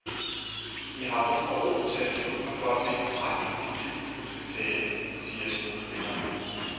Jeg har brug for ro til at beslutte mig for, hvilken retning mit liv nu skal tage, siger skuespilleren.